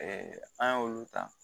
an y'olu ta